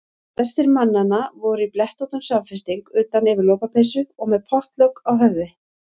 Flestir mannanna voru í blettóttum samfesting utan yfir lopapeysu og með pottlok á höfði.